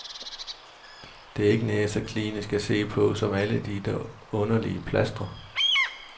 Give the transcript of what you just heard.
Det er ikke nær så klinisk at se på som alle de der underlige plastre.